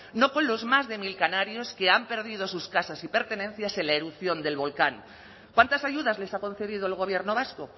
no con los más de mil canarios que han perdido sus casas y pertenencias en la erupción del volcán cuántas ayudas les ha concedido el gobierno vasco